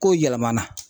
Kow yɛlɛmana